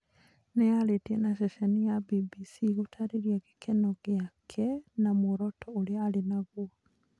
Nĩarĩtie na ceceni ya BBC gũtarĩria gĩkeno gĩakw na mũoroto ũrĩa arĩ naguo